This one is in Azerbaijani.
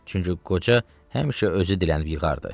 Çünki qoca həmişə özü dilənib yığardı.